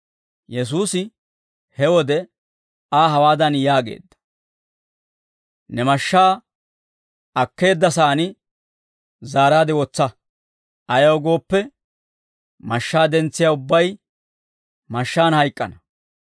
Yesuusi he wode Aa hawaadan yaageedda; «Ne mashshaa akkeeddasaani zaaraade wotsa; ayaw gooppe, mashshaa dentsiyaa ubbay mashshaan hayk'k'ana.